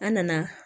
An nana